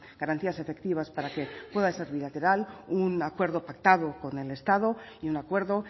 garantías efectivas para que pueda ser bilateral un acuerdo pactado con el estado y un acuerdo